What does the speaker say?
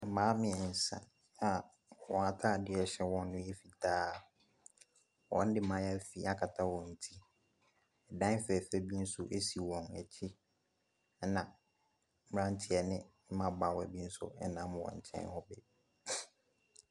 Mmaa mmiɛnsa a wɔn ataadeɛ ɛhyɛ wɔn no yɛ fitaa, wɔde mayaafi agu wɔn ti, dan fɛɛfɛ bi nso si wɔn akyi, na mmeranteɛ ne mmabaawa bi nso nam wɔn nkyɛn bi.